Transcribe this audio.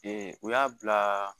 u y'a bila